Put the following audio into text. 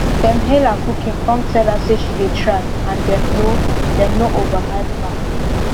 dem hail her cooking cum tell her say she dey try and dem no dem no overhype her